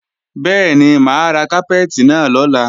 Bẹ́ẹ̀ni, mà á ra kápẹ́ẹ̀tì náà lọ́la